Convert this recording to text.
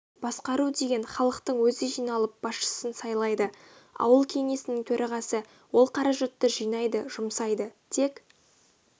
басқару деген халықтың өзі жиналып басшысын сайлайды ауыл кеңесінің төрағасы ол қаражатты жинайды жұмсайды тек